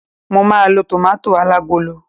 mo ma lo tomato alagolo